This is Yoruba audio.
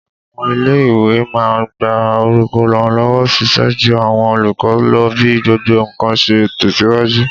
Àwọn ilé-ìwé máa n gba olùrànlọ́wọ́ ṣíṣẹ́ jú àwọn olùkọ́ lọ bí gbogbo ǹkan ṣe ń tẹ̀síwájú